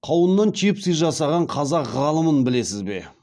қауыннан чипсы жасаған қазақ ғалымын білесіз бе